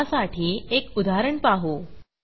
ह्यासाठी एक उदाहरण पाहू